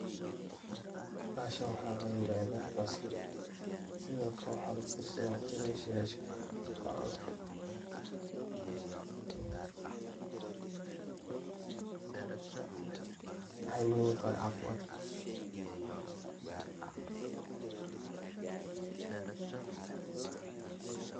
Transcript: Baxashan waxa layirada basal, sidhokale waxa lagu darsada cunta yaasha lacuno, maxay muhiim utahay cafimatka.